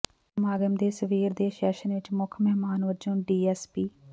ਸਮਾਗਮ ਦੇ ਸਵੇਰ ਦੇ ਸੈਸ਼ਨ ਵਿਚ ਮੁੱਖ ਮਹਿਮਾਨ ਵਜੋਂ ਡੀਐੱਸਪੀ